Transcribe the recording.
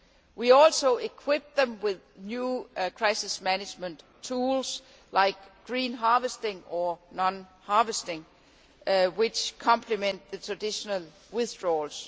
We also equipped them with new crisis management tools, like green harvesting or non harvesting, which complement the traditional withdrawals.